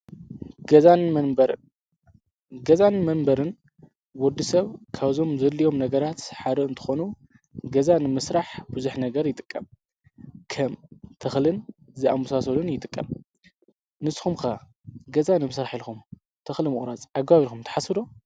ገዛን መንበርን፡ ገዛን መንበርን ወዲሰብ ካብዞም ዘድልዮም ነገራት ሓደ እንትኾኑ ገዛ ንምስራሕ ብዙሕ ነገር ይጥቀም:: ከም ተኽሊን ዝኣመሳስሉን ይጥቀም። ንስኩም ከ ገዛ ነምስራሕ ኢልኩም ተኽሊ ምቁራፅ ኣግባብ ኢልኩም ትሓስቡ ዶ?